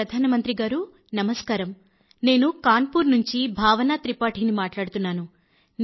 ప్రధానమంత్రి గారూ నమస్కారం నేను కాన్పూర్ నుండి భావనా త్రిపాఠి ని మాట్లాడుతున్నాను